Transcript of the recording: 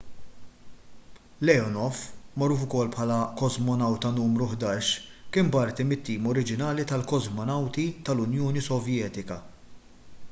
leonov magħruf ukoll bħala kosmonawta nru 11 kien parti mit-tim oriġinali tal-kosmonawti tal-unjoni sovjetika